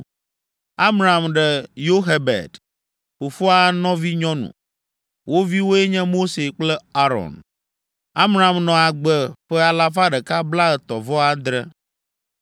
Amram ɖe Yoxebed, fofoa nɔvinyɔnu; wo viwoe nye Mose kple Aron. Amram nɔ agbe ƒe alafa ɖeka blaetɔ̃-vɔ-adre (137).